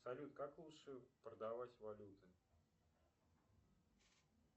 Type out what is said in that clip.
салют как лучше продавать валюту